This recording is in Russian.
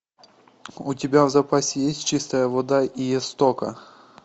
у тебя в запасе есть чистая вода у истока